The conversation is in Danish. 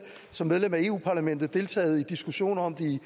som medlem af europa parlamentet deltaget i diskussioner om det i